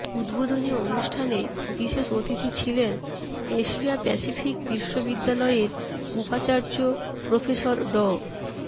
উদ্বোধনী অনুষ্ঠানে বিশেষ অতিথি ছিলেন এশিয়া প্যাসিফিক বিশ্ববিদ্যালয়ের উপাচার্য প্রফেসর ড